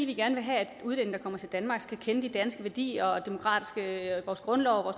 vi gerne vil have at udlændinge der kommer til danmark skal kende de danske værdier vores grundlov og